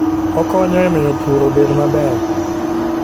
Okonyo e miyo pur obed maber.